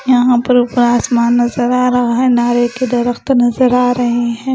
यहाँ पर ऊपर आसमान नज़र आ रहा है नारे के दरख्त नज़र आ रहे हैं।